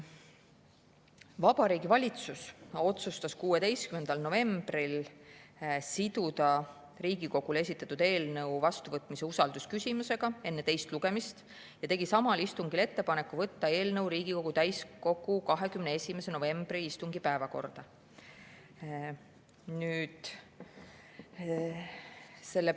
Vabariigi Valitsus otsustas 16. novembril siduda Riigikogule esitatud eelnõu vastuvõtmise usaldusküsimusega enne teist lugemist ja tegi samal istungil ettepaneku võtta eelnõu Riigikogu täiskogu 21. novembri istungi päevakorda.